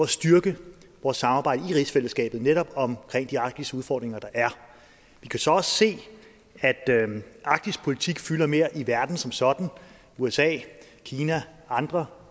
styrke vores samarbejde i rigsfællesskabet netop om de arktiske udfordringer der er vi kan så også se at arktispolitik fylder mere i verden som sådan usa kina og andre